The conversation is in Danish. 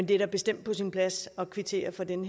det er da bestemt på sin plads at kvittere for den